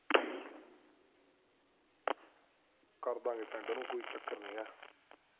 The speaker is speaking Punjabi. ਕਰ ਦਾਂਗੇ send ਓਹਨੂੰ ਕੋਈ ਚੱਕਰ ਨੀ ਹੈਗਾ